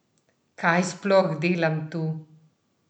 Kaj sploh delam tu?